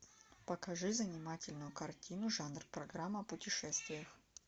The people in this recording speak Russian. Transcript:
покажи занимательную картину жанр программа о путешествиях